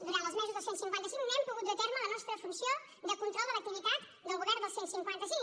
durant els mesos del cent i cinquanta cinc no hem pogut dur a terme la nostra funció de control de l’activitat del govern del cent i cinquanta cinc